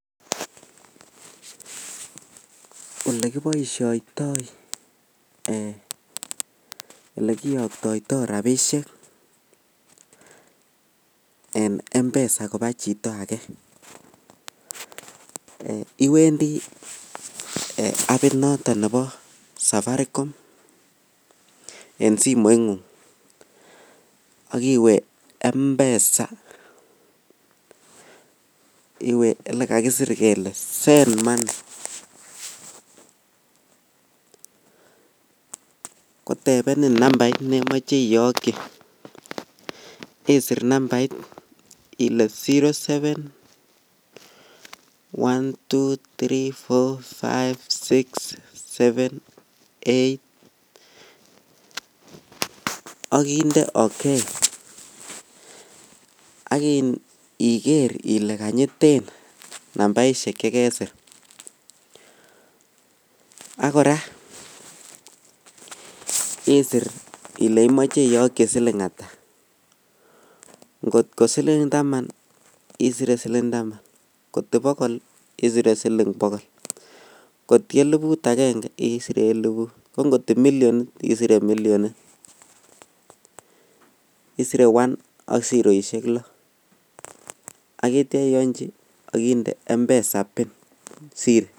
Olekiboishoidoi ee olekiyokyoitoi rabishek en mpesa koba chito ake eii iwendi apit notet nebo safaticom en simoingug ak iwe mpesa iwe olekakisir kele send money kotebenin namvsit nemoche iyokchi isir nsmbait ile 07 123456789ak inde oke ak iker ile janyi namvaishek chekesir ak kora isir ile imoche iyokchi silik ata kot ko silik tam ko taman ala kot ko bohol isir silik bokol ,kot ko elibut aenge isir ile elinu ko kot milliyonit isire millyonit isire 1 ak siroishek loo.